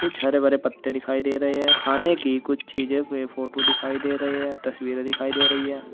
कुछ हरे भरे पत्ते दिखाई दे रहे है खाने की कुछ चीजें फोटो दिखाई दे रहे है तस्वीरें दिखाई दे रही हैं।